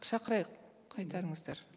шақырайық қайтарыңыздар